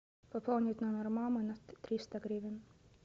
пополнить номер мамы на триста гривен